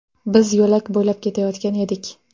Biz yo‘lak bo‘ylab ketayotgan edik.